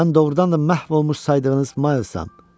Mən doğrudan da məhv olmuş saydığınız Miles-am.